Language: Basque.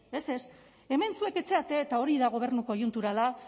ez ez hemen zuek ez zarete eta hori da gobernu koiunturala